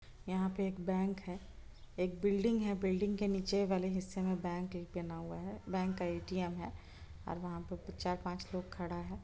यहाँ पे एक बैंक है एक बिल्डिंग है बिल्डिंग के नीचे वाले हिस्से में बैंक एक बना हुआ है बैंक का ए.टी.एम. है और वहां पे चार-पांच लोग खड़ा है।